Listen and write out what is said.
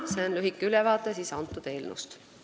See oli lühike ülevaade sellest eelnõust.